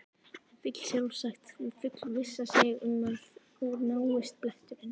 Vill sjálfsagt fullvissa sig um að úr náist bletturinn.